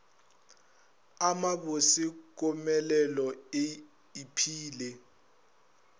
a mabose komelelo e iphile